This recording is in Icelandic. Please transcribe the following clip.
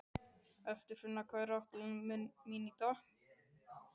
Eirfinna, hvað er á áætluninni minni í dag?